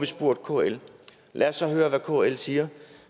spurgt kl og lad os så høre hvad kl siger